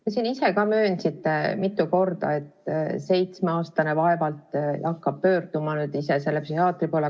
Te siin ise ka möönsite mitu korda, et seitsmeaastane vaevalt hakkab pöörduma ise psühhiaatri poole.